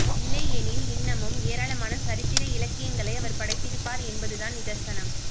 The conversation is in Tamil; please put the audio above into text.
இல்லையெனில் இன்னமும் ஏராளமான சரித்திர இலக்கியங்களை அவர் படைத்திருப்பார் என்பதுதான் நிதர்சனம்